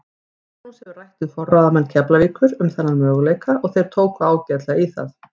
Magnús hefur rætt við forráðamenn Keflavíkur um þennan möguleika og þeir tóku ágætlega í það.